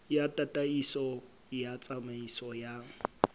ya tataiso ya tsamaiso ya